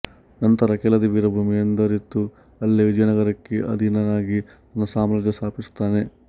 ನಂತರ ಕೆಳದಿ ವೀರಭೂಮಿ ಎಂದರಿತು ಅಲ್ಲೇ ವಿಜಯನಗರಕ್ಕೆ ಅಧೀನನಾಗಿ ತನ್ನ ಸಾರ್ಮಾಜ್ಯ ಸ್ಥಾಪಿಸುತ್ತಾನೆ